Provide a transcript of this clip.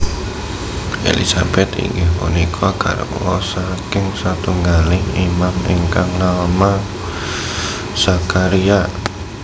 Elisabet inggih punika garwa saking satunggaling Imam ingkang nama Zakharia